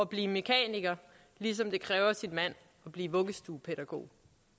blive mekaniker ligesom det kræver sin mand at blive vuggestuepædagog